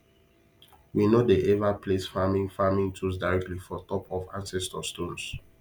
we no dey ever place farming farming tools directly for top of ancestor stones